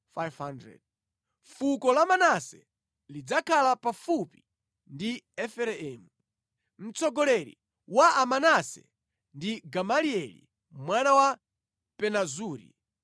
Fuko la Manase lidzakhala pafupi ndi Efereimu. Mtsogoleri wa Amanase ndi Gamalieli mwana wa Pedazuri.